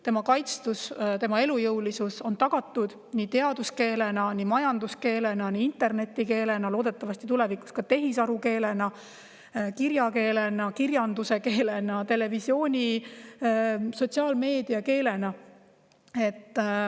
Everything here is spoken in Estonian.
Tema kaitstus ja elujõulisus on tagatud teaduskeelena, majanduskeelena, internetikeelena, loodetavasti tulevikus ka tehisarukeelena, kirjakeelena, kirjanduse keelena, televisiooni- ja sotsiaalmeediakeelena.